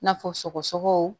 N'a fɔ sɔgɔsɔgɔ